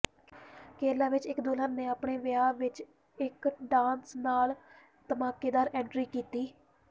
ਕੇਰਲਾ ਵਿਚ ਇਕ ਦੁਲਹਨ ਨੇ ਆਪਣੇ ਵਿਆਹ ਵਿਚ ਇਕ ਡਾਂਸ ਨਾਲ ਧਮਾਕੇਦਾਰ ਐਂਟਰੀ ਕੀਤੀ